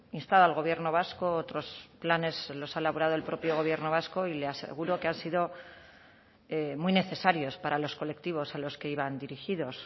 instado al gobierno vasco otros planes los ha elaborado el propio gobierno vasco y le aseguro que han sido muy necesarios para los colectivos a los que iban dirigidos